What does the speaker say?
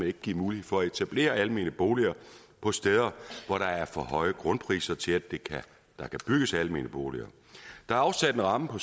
ikke givet mulighed for at etablere almene boliger på steder hvor der er for høje grundpriser til at der kan bygges almene boliger der er afsat en ramme på